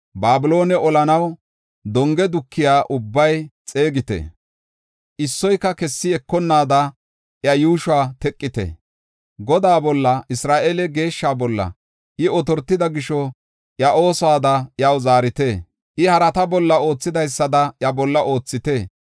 Babiloone olanaw donge dukiya ubbaa xeegite; issoyka kessi ekonnaada iya yuushuwa teqo. Godaa bolla, Isra7eele Geeshsha bolla, I otortida gisho, iya oosuwada iyaw zaarite. I harata bolla oothidaysada iya bolla oothite.